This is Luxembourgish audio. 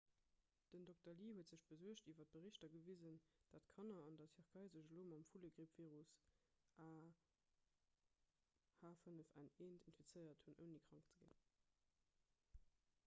den dr. lee huet sech besuergt iwwer berichter gewisen datt kanner an der tierkei sech elo mam vullegrippvirus ah5n1 infizéiert hunn ouni krank ze ginn